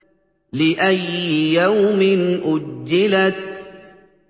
لِأَيِّ يَوْمٍ أُجِّلَتْ